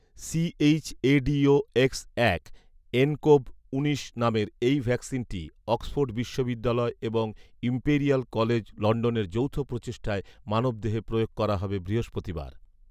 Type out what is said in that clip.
ChAdOx এক nCoV উনিশ নামের এই ভ্যাকসিনটি অক্সফোর্ড বিশ্ববিদ্যালয় এবং ইমপেরিয়াল কলেজ লন্ডনের যৌথ প্রচেষ্টায় মানবদেহে প্রয়োগ করা হবে বৃহস্পতিবার